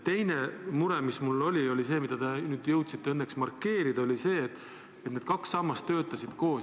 Teine mure, mis mul on, on see – õnneks te jõudsite seda ka markeerida –, et need kaks sammast töötasid koos.